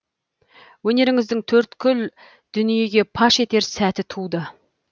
өнеріңізді төрткүл дүниеге паш етер сәті туды